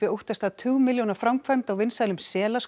óttast að tugmilljóna framkvæmd á vinsælum